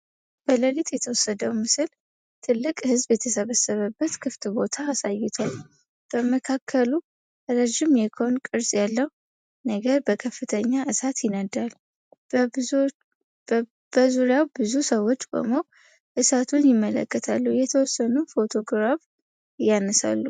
በሌሊት የተወሰደው ምስል ትልቅ ሕዝብ የተሰበሰበበት ክፍት ቦታ አሳይቷል። በመካከሉ ረዥም የኮን ቅርጽ ያለው ነገር በከፍተኛ እሳት ይነዳል። በዙሪያው ብዙ ሰዎች ቆመው እሳቱን ይመለከታሉ፤ የተወሰኑት ፎቶግራፍ ያነሳሉ።